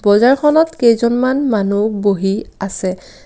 বজাৰখনত কেইজনমান মানুহ বহি আছে।